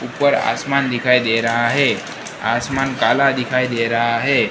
ऊपर आसमान दिखाई दे रहा है आसमान काला दिखाई दे रहा है।